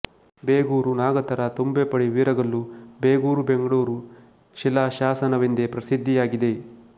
ಬೇಗೂರು ನಾಗತರ ತುಂಬೆಪಡಿ ವೀರಗಲ್ಲು ಬೇಗೂರು ಬೆಂಗಳೂರು ಶಿಲಾಶಾಸನವೆಂದೇ ಪ್ರಸಿದ್ದಿಯಾಗಿದೆ